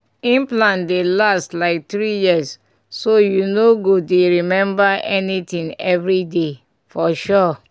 implant dey last like three years so you no go dey remember anything every day. for sure